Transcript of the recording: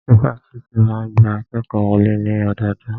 Ifáfitì máa ń gba akékòó wọlé ní ọdọọdún.